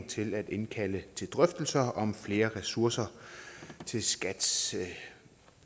til at indkalde til drøftelser om flere ressourcer til skats